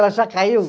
Ela já caiu?